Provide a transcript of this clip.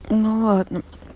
о ну ладно